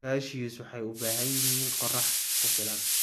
Cashews waxay u baahan yihiin qorrax ku filan.